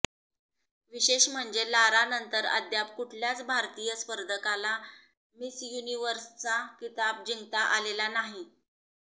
विशेष म्हणजे लारानंतर अद्याप कुठल्याच भारतीय स्पर्धकाला मिस युनिव्हर्सचा किताब जिंकता आलेला नाही